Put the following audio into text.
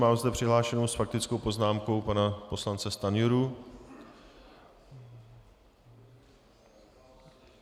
Mám zde přihlášeného s faktickou poznámkou pana poslance Stanjuru.